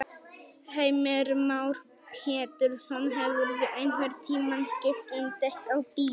Heimir Már Pétursson: Hefurðu einhvern tímann skipt um dekk á bíl?